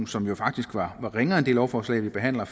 som jo faktisk var ringere end det lovforslag vi behandler